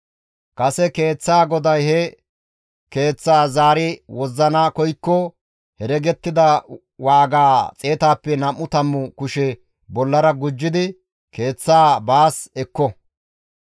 Kase keeththaa goday he keeththaa zaari wozzana koykko heregettida waaga xeetappe nam7u tammu kushe bollara gujjidi keeththaa baas ekko.